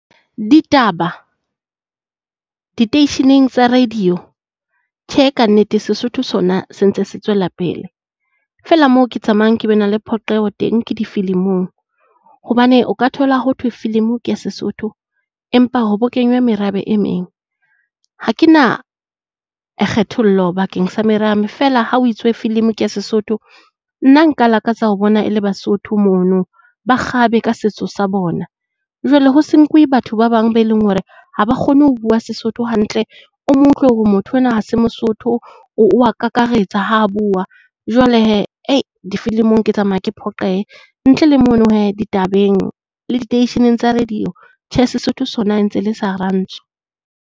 Ditaba diteisheneng tsa radio, tjhe ka nnete Sesotho sona sentse se tswela pele. Feela moo ke tsamayang ke be na le phoqeho teng ke difilimong. Hobane o ka thola ho thwe filimo ke Sesotho empa ho bo kenywa merabe e meng. Ha ke na kgethollo bakeng sa merabe feela ha ho itswe film ke Sesotho nna nka lakatsa ho bona e le Basotho mono ba kgabe ka setso sa bona. Jwale ho se nkuwe batho ba bang be leng hore ha ba kgone ho bua Sesotho hantle, o mo utlwe hore motho enwa ha se Mosotho o wa kakaretsa ha bua. Jwale difilimo ke tsamaya ke phoqeha. Ntle le mono hee ditabeng le diteisheneng tsa radio tjhe Sesotho sona ntse le sa Rantsho.